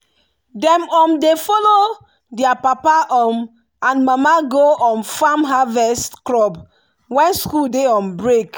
dem um dey follow their papa um and mama go um farm harvest crop when school dey on break.